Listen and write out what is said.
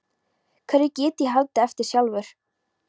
Hverju get ég haldið eftir sjálfur?